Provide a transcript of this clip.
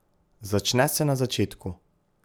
Začne se na začetku.